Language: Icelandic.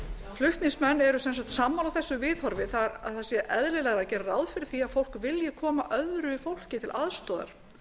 flutningsmenn eru sammála þessu viðhorfi þ e að það sé eðlilegra að gera ráð fyrir því að fólk vilji koma öðru fólki til aðstoðar